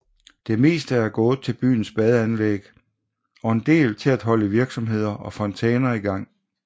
Det meste er gået til byens badeanlæg og en del til at holde virksomheder og fontæner i gang